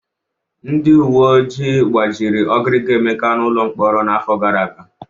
Ndị uwe ojii gbajiri ọgiriga Emeka n'ụlọ mkpọrọ n'afọ gara aga.